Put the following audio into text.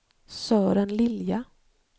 Sören Lilja